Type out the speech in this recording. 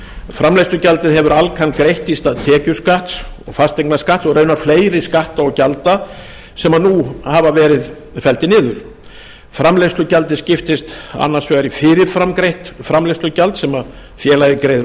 framleiðslugjaldið hefur alcan greitt í stað tekjuskatts og fasteignaskatts og raunar fleiri skatta og gjalda sem nú hafa verið felldir niður framleiðslugjaldið skiptist annars vegar í fyrirfram greitt framleiðslugjald sem félagi greiðir